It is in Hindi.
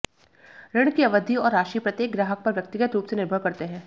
ऋण की अवधि और राशि प्रत्येक ग्राहक पर व्यक्तिगत रूप से निर्भर करते हैं